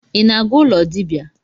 I na-aga ụlọ dibia?